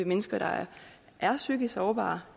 mennesker der er psykisk sårbare